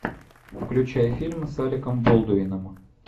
включай фильм с алеком болдуином